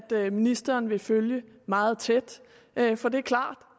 ved ministeren vil følge meget tæt for det er klart